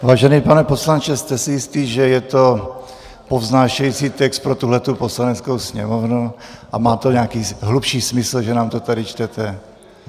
Vážený pane poslanče, jste si jistý, že je to povznášející text pro tuto Poslaneckou sněmovnu a má to nějaký hlubší smysl, že nám to tady čtete?